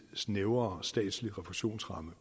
snævrere statslig refusionsramme